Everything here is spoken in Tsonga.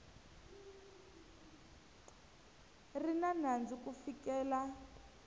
ri na nandzu ku fikela